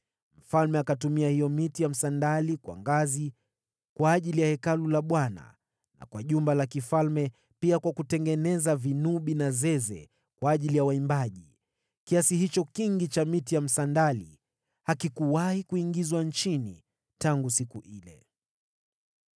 Mfalme akatumia hiyo miti ya msandali kuwa ngazi kwa ajili ya Hekalu la Bwana na kwa jumba la kifalme, pia kwa kutengeneza vinubi na zeze kwa ajili ya waimbaji. Kiasi hicho kingi cha msandali hakijawahi kuingizwa Yuda tangu siku ile.)